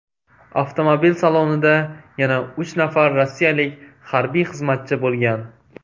Avtomobil salonida yana uch nafar rossiyalik harbiy xizmatchi bo‘lgan.